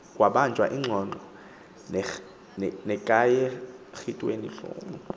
kwabanjwa iingxoxo ngekharityhulamu